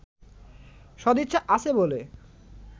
সদিচ্ছা আছে বলে